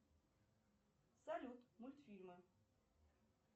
салют мультфильмы